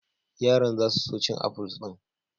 Yaran za su so cin afuls din.